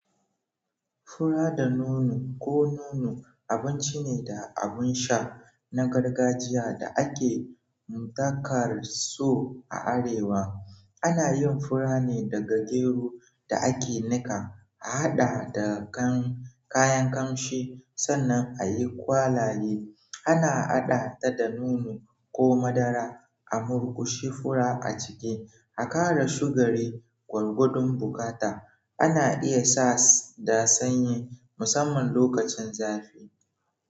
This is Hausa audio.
Fura da nono ko nono abinci ne da abin sha na gargajiya da ake dakar so a arewa. Ana yin fura ne daga gero da ake nika, a haɗa da kayan kamshi sannan a yi kwalaye. Ana haɗa ta da nono ko madara a murƙushi fura aciki aƙara shugari gwargwadon buƙata. Ana iya sa da sanyi musamman lokacin zafi.